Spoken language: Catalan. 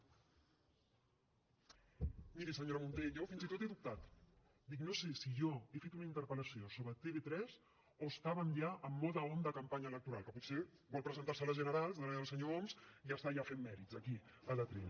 miri senyora munté jo fins i tot he dubtat dic no sé si jo he fet una interpel·lació sobre tv3 o estàvem ja en mode on de campanya electoral que potser vol presentarse a les generals darrere del senyor homs i està ja fent mèrits aquí a l’atril